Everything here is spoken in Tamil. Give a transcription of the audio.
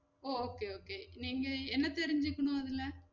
ஓ okay okay நீங்க என்ன தெரிஞ்சிக்கணும் அதுல